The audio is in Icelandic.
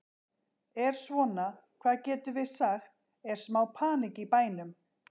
Er svona, hvað getum við sagt, er smá panikk í bænum?